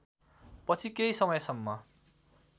पछि केही समयसम्म